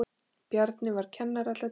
Bjarni var kennari alla tíð.